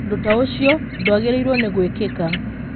Ũndũ ta ũcio ndwagĩrĩirũo nĩ gwĩkĩka.